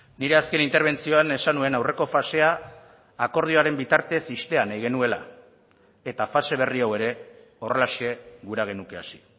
nire azken interbentzioan esan nuen aurreko fasea akordioaren bitartez ixtea nahi genuela eta fase berri hau ere horrelaxe gura genuke hasi